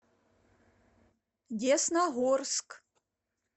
десногорск